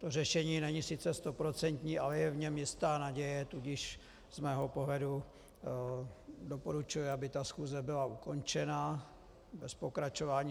To řešení není sice stoprocentní, ale je v něm jistá naděje, tudíž z mého pohledu doporučuji, aby ta schůze byla ukončena bez pokračování.